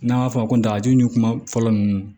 N'an b'a fɔ a ma dagaji ni kuma fɔlɔ ninnu